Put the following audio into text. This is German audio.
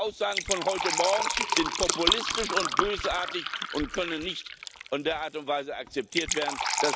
Diese Aussagen von heute Morgen sind populistisch und bösartig und können in der Art und Weise nicht akzeptiert werden.